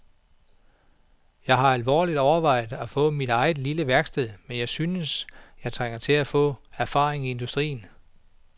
Jeg har alvorligt overvejet at få mit eget lille værksted, men jeg synes, at jeg trænger til at få erfaring i industrien.